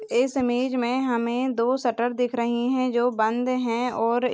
इस इमेज में हमे दो शटर दिख रहे है जो बंद है और--